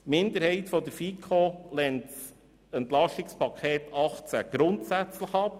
Die Minderheit der FiKo lehnt das EP grundsätzlich ab.